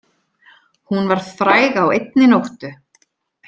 Hún varð fræg á einni nóttu.